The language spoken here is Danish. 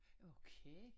Okay